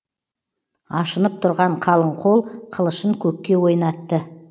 ашынып тұрған қалың қол қылышын көкке ойнатты